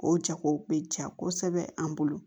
O jago bɛ ja kosɛbɛ an bolo